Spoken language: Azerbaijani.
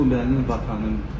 Krım bu mənim vətənimdir.